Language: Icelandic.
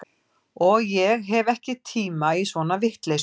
Og ég hef ekki tíma í svona vitleysu